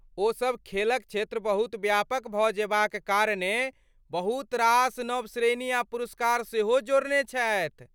ओसब खेलक क्षेत्र बहुत व्यापक भऽ जेबाक कारणेँ बहुत रास नव श्रेणी आ पुरस्कार सेहो जोड़ने छथि।